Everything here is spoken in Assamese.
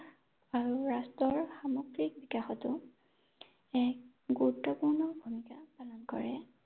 আৰু ৰাষ্ট্ৰৰ সামগ্ৰিক বিকাশতো এক গুৰুত্বপূৰ্ণ ভূমিকা পালন কৰে ৷